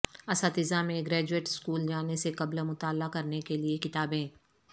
اساتذہ میں graduate school جانے سے قبل مطالعہ کرنے کے لئے کتابیں